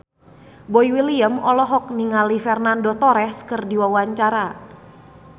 Boy William olohok ningali Fernando Torres keur diwawancara